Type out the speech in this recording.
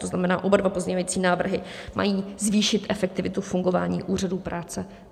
To znamená, oba dva pozměňovací návrhy mají zvýšit efektivitu fungování úřadů práce.